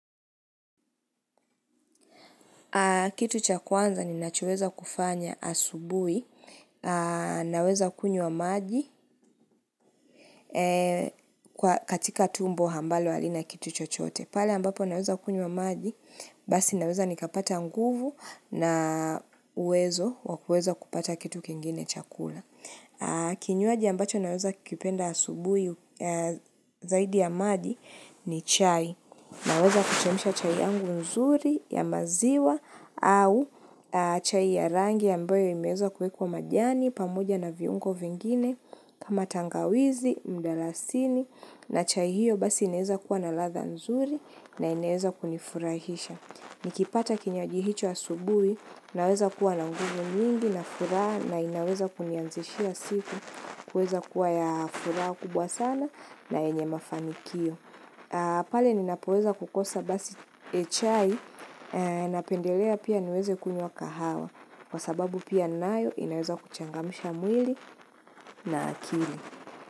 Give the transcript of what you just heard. Kitu chaku kwanza ni nachoweza kufanya asubuhi, naweza kunywa maji katika tumbo hambalo alina kitu chochote. Pale ambapo naweza kunywa maji, basi naweza nikapata nguvu na uwezo wakueza kupata kitu kengine chakula. Kinywaji ambacho naweza kipenda asubui zaidi ya maji ni chai. Naweza kuchemisha chai yangu nzuri ya maziwa au chai ya rangi ambayo imeza kwekwa majani pamoja na viungo vingine kama tangawizi, mdalasini na chai hiyo basi ineza kuwa na ladha nzuri na ineza kunifurahisha. Nikipata kinywaji hicho asubuhi naweza kuwa na nguvu nyingi na furaha na inaweza kunianzishia siku kuweza kuwa ya furaha kubwa sana na enye mafamikio. Pale ninapoweza kukosa basi chai napendelea pia niweze kunywa kahawa kwa sababu pia nayo inaweza kuchangamisha mwili na akili.